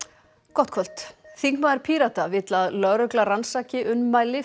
gott kvöld þingmaður Pírata vill að lögregla rannsaki ummæli